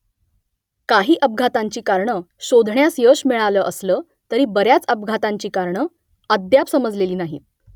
काही अपघातांची कारणं शोधण्यास यश मिळालं असलं तरी बऱ्याच अपघातांची कारणं अद्याप समजलेली नाहीत